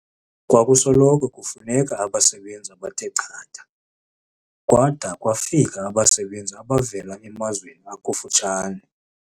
Kwakusoloko kufuneka abasebenzi abathechatha kwada kwafika abasebenzi abavela emazweni akufutshane.